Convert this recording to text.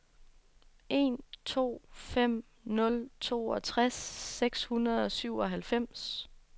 en to fem nul toogtres seks hundrede og syvoghalvfems